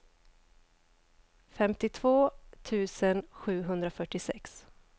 femtiotvå tusen sjuhundrafyrtiosex